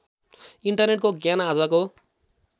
इन्टरनेटको ज्ञान आजको